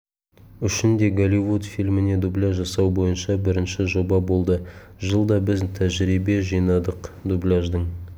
үшін де голливуд фильміне дубляж жасау бойынша бірінші жоба болды жылда біз тәжірибе жинадық дубляждың